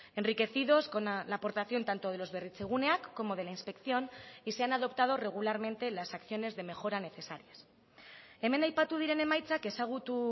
enriquecidos con la aportación tanto de los berritzeguneak como de la inspección y se han adoptado regularmente las acciones de mejora necesarias hemen aipatu diren emaitzak ezagutu